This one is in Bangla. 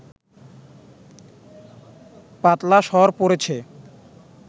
পাতলা সর পড়েছে